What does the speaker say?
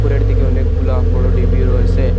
উপরের দিকে অনেকগুলা বড় ডিবিও রয়েসে।